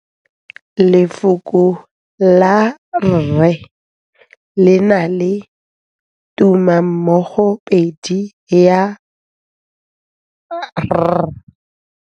Lefoko la rre le na le tumammogôpedi ya, r.